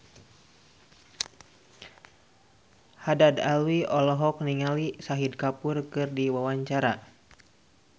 Haddad Alwi olohok ningali Shahid Kapoor keur diwawancara